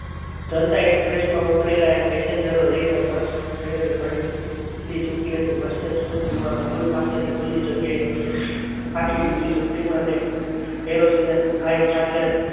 જનતા express માં ઉતરેલા passenger લઈને bus શહેર ભણી ઉપડી ચૂકી હતી bus stand ના સોગન પાસેના ખુલ્લી જગ્યામાં હાથી તૂટી ઝૂંપડીમાં અને કેરોસીનના હાય ખાટલે